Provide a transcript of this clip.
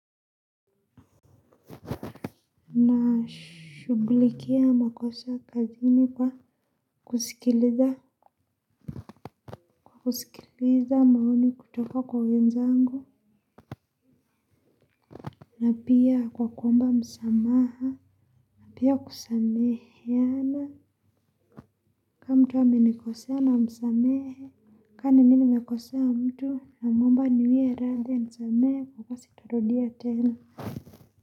Nashughulikia makosa kazini kwa wa kusikiliza maoni kutoka kwa wenzangu. Na pia kwa kuomba msamaha na pia kusameheana kama mtu amenikosea na msamehe. Kama ni mimi nimekosea mtu namwomba aniwia radhi anisamehe kwamba sitorodia tena.